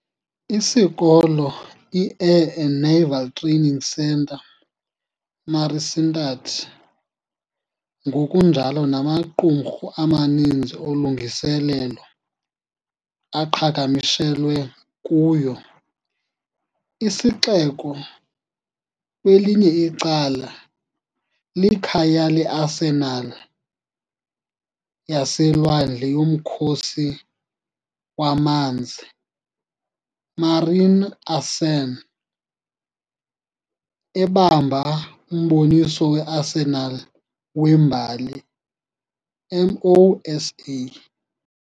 Isikolo , i -Air and Naval Training Centre, MARICENTADD, ngokunjalo namaqumrhu amaninzi olungiselelo aqhagamshelwe kuyo. Isixeko, kwelinye icala, likhaya leArsenal yaseLwandle yoMkhosi waManzi, MARINARSEN, ebamba uMboniso weArsenal weMbali, Mo.SA.